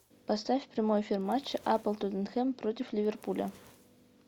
поставь прямой эфир матча апл тоттенхэм против ливерпуля